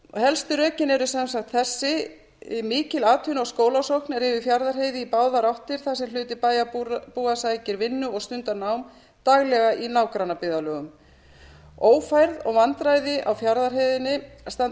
helstu rökin eru sem sagt þessi mikil atvinnu og skólasókn er yfir fjarðarheiði í báðar áttir þar sem hluti bæjarbúa sækir vinnu og stundar nám daglega í nágrannabyggðarlögum ófærð og vandræði á fjarðarheiðinni standa